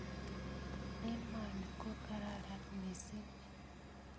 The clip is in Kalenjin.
Emoni ko kararan missing'